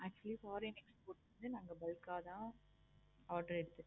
actually நாங்க foreign export நாங்க bulk ஆஹ் தான் எடுப்போம்.